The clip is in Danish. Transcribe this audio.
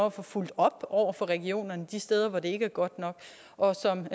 at få fulgt op over for regionerne de steder hvor det ikke er godt nok og som